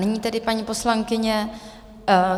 Nyní tedy paní poslankyně...